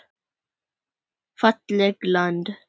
Fallegt land.